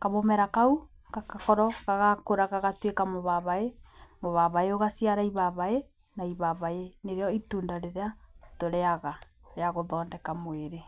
Kamũmera kau, gagakorwo agakũra gatuĩke mũbabaĩ, mũbabaĩ ũgaciara ibabaĩ na ibabaĩ nĩrĩo itunda rĩrĩa tũrĩyaga rĩa gũthondeka mwĩrĩ.